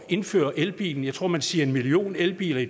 indføre elbiler jeg tror man siger en million elbiler i